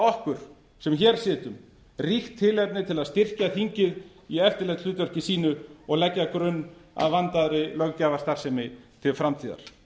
okkur sem hér sitjum ríkt tilefni til að styrkja þingið í eftirlitshlutverki sínu og leggja grunn að vandaðri löggjafarstarfsemi til framtíðar